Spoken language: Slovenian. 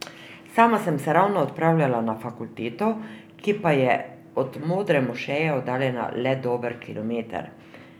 Sama sem se ravno odpravljala na fakulteto, ki pa je od Modre mošeje oddaljena le dober kilometer.